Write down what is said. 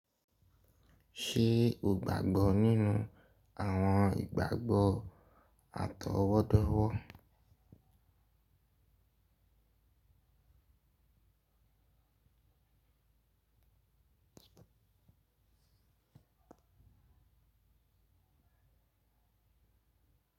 Ṣe o gbagbọ ninu awọn igbagbọ atọwọdọwọ?